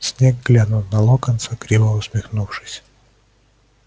снегг глянул на локонса криво усмехнувшись